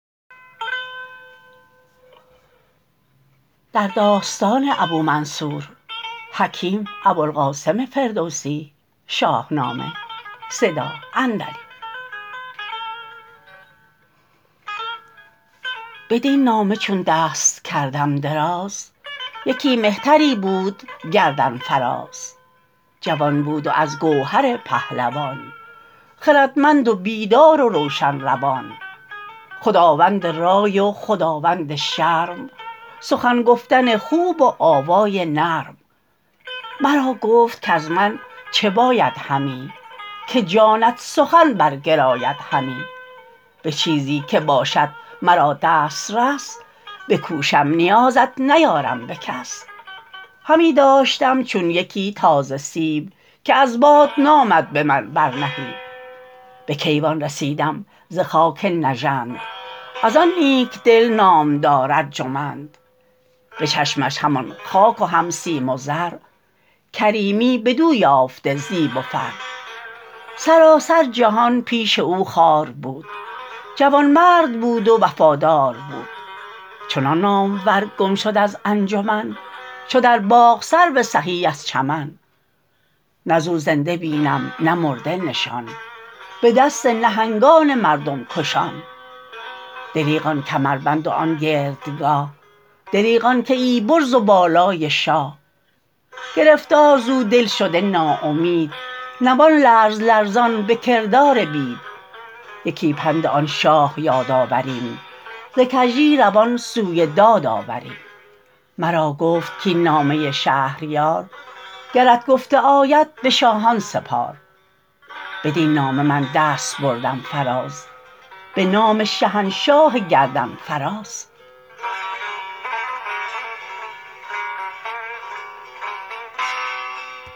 بدین نامه چون دست کردم دراز یکی مهتری بود گردن فراز جوان بود و از گوهر پهلوان خردمند و بیدار و روشن روان خداوند رای و خداوند شرم سخن گفتن خوب و آوای نرم مرا گفت کز من چه باید همی که جانت سخن برگراید همی به چیزی که باشد مرا دسترس بکوشم نیازت نیارم به کس همی داشتم چون یکی تازه سیب که از باد نامد به من بر نهیب به کیوان رسیدم ز خاک نژند از آن نیک دل نامدار ارجمند به چشمش همان خاک و هم سیم و زر کریمی بدو یافته زیب و فر سراسر جهان پیش او خوار بود جوانمرد بود و وفادار بود چنان نامور گم شد از انجمن چو در باغ سرو سهی از چمن نه ز او زنده بینم نه مرده نشان به دست نهنگان مردم کشان دریغ آن کمربند و آن گردگاه دریغ آن کیی برز و بالای شاه گرفتار ز او دل شده نا امید نوان لرز لرزان به کردار بید یکی پند آن شاه یاد آوریم ز کژی روان سوی داد آوریم مرا گفت کاین نامه شهریار گرت گفته آید به شاهان سپار بدین نامه من دست بردم فراز به نام شهنشاه گردن فراز